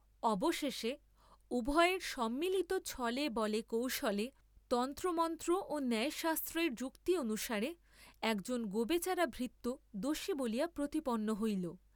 অবশেষে উভয়ের সম্মিলিত ছলে বলে কৌশলে, তন্ত্রমন্ত্র ও ন্যায়শাস্ত্রের যুক্তি অনুসারে একজন গোবেচারা ভৃত্য দোষী বলিয়া প্রতিপন্ন হইল।